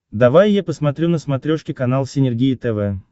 давай я посмотрю на смотрешке канал синергия тв